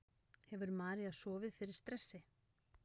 Hefur María sofið fyrir stressi?